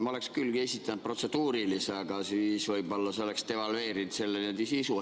Ma oleksin küll esitanud protseduurilise küsimuse, aga see oleks võib-olla devalveerinud selle sisu.